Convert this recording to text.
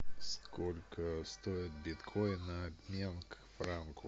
сколько стоит биткоин на обмен к франку